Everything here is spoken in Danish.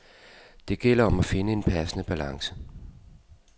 Det gælder om at finde en passende balance.